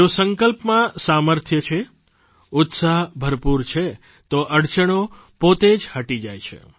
જો સંકલ્પમાં સામર્થ્ય છે ઉત્સાહ ભરપૂર છે તો અડચણો પોતે જ હટી જાય છે